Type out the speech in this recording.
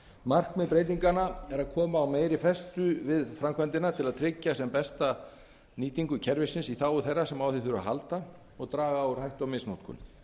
markmið breytinganna er að koma á meiri festu við framkvæmdina til að tryggja sem besta nýtingu kerfisins í þágu þeirra sem á því þurfa að halda og draga úr hættu misnotkun